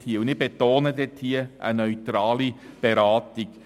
Wir betonen: eine Beratung.